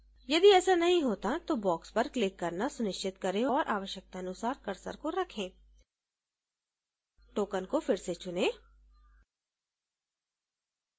यदि ऐसा नहीं होता है तो box पर click करना सुनिश्चित करें और आवश्यकतानुसार cursor को रखें token को फिर से चुनें